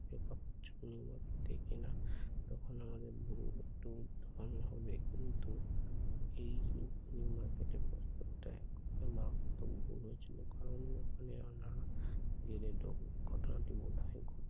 new market থেকে কেনা আহ তখনো আমাদের দোকানি হবে কিন্তু এই new market এর প্রস্তাবটা এখনো মারাত্মক ভুল হয়েছিল কারণ এর ফলে আমার নানা ঘটনাটি বোধয়